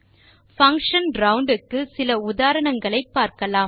function round க்கு சில உதாரணங்களை பார்க்கலாம்